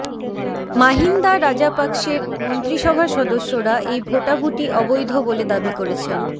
মাহিন্দা রাজাপাকসের মন্ত্রিসভার সদস্যরা এই ভোটাভুটি অবৈধ বলে দাবী করেছেন